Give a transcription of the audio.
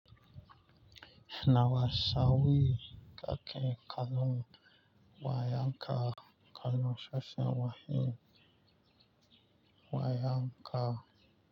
Nawa sau kake kalon wayanka kalon sashen wani wayanka.